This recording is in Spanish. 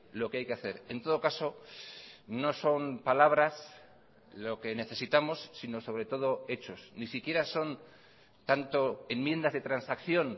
lo que hay que hacer en todo caso no son palabras lo que necesitamos sino sobre todo hechos ni siquiera son tanto enmiendas de transacción